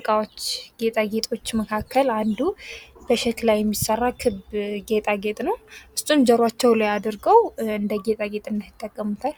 ዕቃዎች ጌጣጌጦቹ መካከል አንዱ በሸክላ የሚሰራ ከብት ጌጣጌጥ ነው። እሱን ጆሯቸው ላይ አድርገው እንደ ጌጣጌጥነት ይጠቀሙታል።